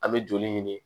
An bɛ joli ɲini